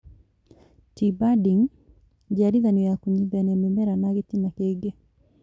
T-Budding, njiarithanio ya kũnyitithania mĩmera na gĩtina kĩngĩ